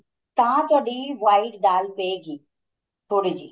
ਤਾਂ ਤੁਹਾਡੀ white ਦਾਲ ਪਏਗੀ ਥੋੜੀ ਜੀ